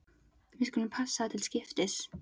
Við skulum passa það til skiptis.